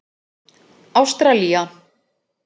Ástralía